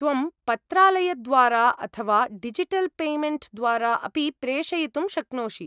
त्वं पत्रालयद्वारा, अथवा डिजिटल् पेमेण्ट् द्वारा अपि प्रेषयितुं शक्नोषि।